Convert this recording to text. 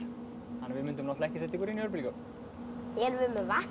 við myndum ekki setja ykkur inn í örbylgjuofn erum við með vatn